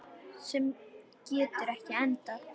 Sem getur ekki endað.